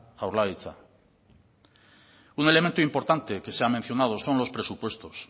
jaurlaritza un elemento importante que se ha mencionado son los presupuestos